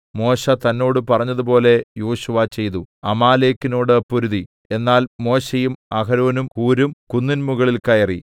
മോശെ തന്നോട് പറഞ്ഞതുപോലെ യോശുവ ചെയ്തു അമാലേക്കിനോട് പൊരുതി എന്നാൽ മോശെയും അഹരോനും ഹൂരും കുന്നിൻമുകളിൽ കയറി